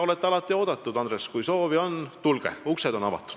Olete alati meile oodatud, Andres – kui soovi on, siis tulge, uksed on avatud.